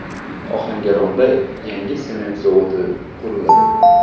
Ohangaronda yangi sement zavodi quriladi.